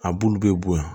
A bulu bɛ bo yen